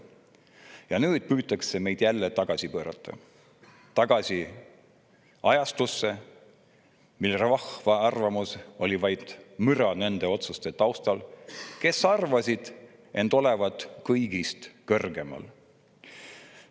Nüüd püütakse jälle tagasi pöörata, tagasi ajastusse, mil rahva arvamus oli vaid müra nende otsuste taustal, kes arvasid end olevat kõigist kõrgemal.